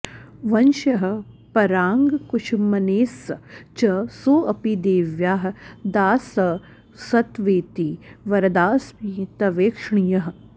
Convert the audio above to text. वंश्यः पराङ्कुशमुनेस्स च सोऽपि देव्याः दासस्तवेति वरदास्मि तवेक्षणीयः